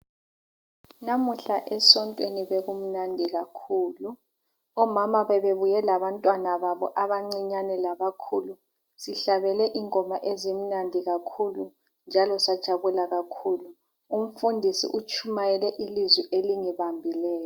Namuhla esontweni bekumnandi kakhulu, omama bebebuye labantwana babo abancinyane labakhulu. Sihlabelele ingoma ezimnadi kahulu njalo sajabula kakhulu. Umfundisi utshumayele ilizwi elingibambileyo.